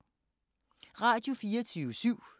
Radio24syv